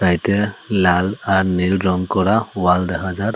এটা লাল আর নীল রং করা ওয়াল দেখা যার।